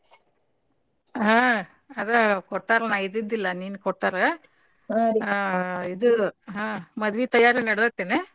ಹಾ ಅದ ಕೊಟ್ಟಾರ್ ನಾ ಇದ್ದಿದ್ಡಿಲ್ಲಾ ನಿನ್ ಕೊಟ್ಟಾರ ಇದು ಮದ್ವಿ ತಯಾರಿ ನಡದೇತೇನ?